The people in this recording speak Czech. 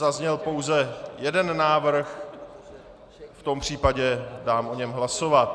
Zazněl pouze jeden návrh, v tom případě dám o něm hlasovat.